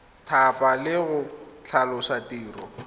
thapa le go tlhalosa tiro